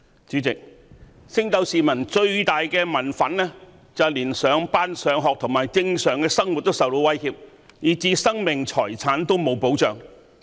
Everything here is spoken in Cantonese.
主席，升斗市民最大的民憤是連上班、上學及正常生活均受到威脅，以致生命財產失去保障。